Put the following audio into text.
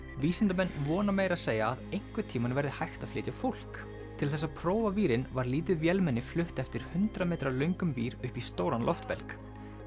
vísindamenn vona meira að segja að einhvern tímann verði hægt að flytja fólk til þess að prófa vírinn var lítið vélmenni flutt eftir hundrað metra löngum vír upp í stóran loftbelg